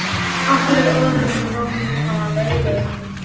Með öðrum orðum- lífið er leiksýning.